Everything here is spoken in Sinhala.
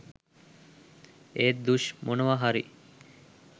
ඒත් ”දුෂ්” මොනවා හරි